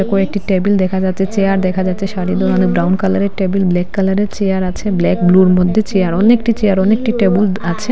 কয়েকটি টেবিল দেখা যাচ্ছে চেয়ার দেখা যাচ্ছে সারি দেওয়ানো ব্রাউন কালারের টেবিল ব্ল্যাক কালারের চেয়ার আছে ব্ল্যাক ব্লুর মধ্যে চেয়ার অনেকটি চেয়ার অনেকটি টেবুল আছে।।